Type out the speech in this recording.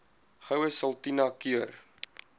goue sultana keur